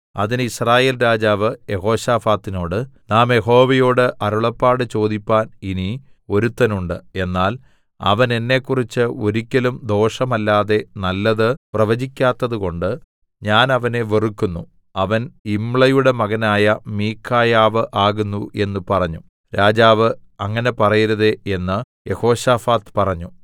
അതിന് യിസ്രായേൽ രാജാവ് യെഹോശാഫാത്തിനോട് നാം യഹോവയോട് അരുളപ്പാട് ചോദിപ്പാൻ ഇനി ഒരുത്തനുണ്ട് എന്നാൽ അവൻ എന്നെക്കുറിച്ച് ഒരിക്കലും ദോഷമല്ലാതെ നല്ലത് പ്രവചിക്കാത്തതുകൊണ്ട് ഞാൻ അവനെ വെറുക്കുന്നു അവൻ യിമ്ളയുടെ മകനായ മീഖായാവ് ആകുന്നു എന്ന് പറഞ്ഞു രാജാവ് അങ്ങനെ പറയരുതേ എന്ന് യെഹോശാഫാത്ത് പറഞ്ഞു